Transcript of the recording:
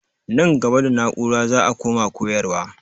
Nan gaba da na'ura za a koma koyarwa.